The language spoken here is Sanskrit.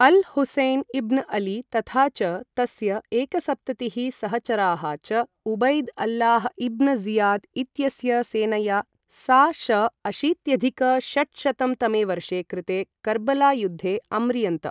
अल् हुसेन् इब्न् अली तथा च तस्य एकसप्ततिः सहचराः च उबैद् अल्लाह् इब्न् ज़ियाद् इत्यस्य सेनया सा.श. अशीत्यधिक षट्शतं तमे वर्षे कृते कर्बला युद्धे अम्रियन्त।